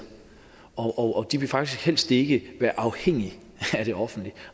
og de vil faktisk helst ikke være afhængige af det offentlige